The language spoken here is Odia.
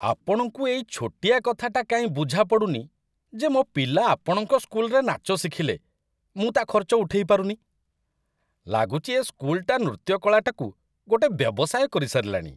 ଆପଣଙ୍କୁ ଏଇ ଛୋଟିଆ କଥାଟା କାଇଁ ବୁଝାପଡ଼ୁନି ଯେ ମୋ' ପିଲା ଆପଣଙ୍କ ସ୍କୁଲ୍‌ରେ ନାଚ ଶିଖିଲେ, ମୁଁ ତା' ଖର୍ଚ୍ଚ ଉଠେଇ ପାରୁନି? ଲାଗୁଚି, ଏ ସ୍କୁଲ୍‌ଟା ନୃତ୍ୟ କଳାଟାକୁ ଗୋଟେ ବ୍ୟବସାୟ କରିସାରିଲାଣି ।